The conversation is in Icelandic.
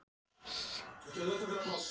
Heimir: Og þú ert auðvitað og þið háð bílnum?